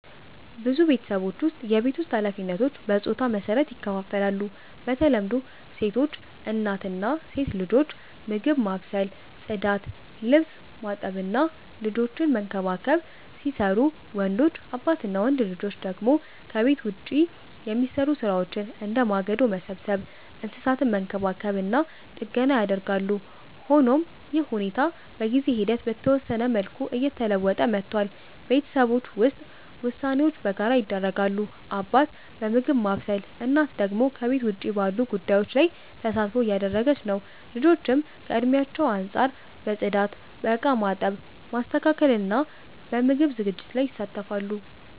በብዙ ቤተሰቦች ውስጥ የቤት ውስጥ ኃላፊነቶች በጾታ መሰረት ይከፋፈላሉ። በተለምዶ ሴቶች (እናት እና ሴት ልጆች) ምግብ ማብሰል፣ ጽዳት፣ ልብስ ማጠብ እና ልጆችን መንከባከብ ሲሰሩቡ፣ ወንዶች (አባት እና ወንድ ልጆች) ደግሞ ከቤት ውጭ የሚሰሩ ሥራዎችን፣ እንደ ማገዶ መሰብሰብ፣ እንስሳትን መንከባከብ እና ጥገና ያደርጋሉ። ሆኖም ይህ ሁኔታ በጊዜ ሂደት በተወሰነ መልኩ እየተለወጠ መጥቷል። ቤተሰቦች ውስጥ ውሳኔዎች በጋራ ይደረጋሉ፤ አባት በምግብ ማብሰል፣ እናት ደግሞ ከቤት ውጭ ባሉ ጉዳዮች ላይ ተሳትፎ እያደረገች ነው። ልጆችም ከእድሜያቸው አንጻር በጽዳት፣ በእቃ ማጠብ፣ ማስተካከል እና በምግብ ዝግጅት ላይ ይሳተፋሉ።